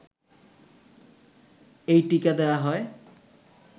এই টীকা দেওয়া হয়